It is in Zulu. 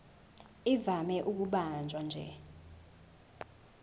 ivame ukubanjwa nje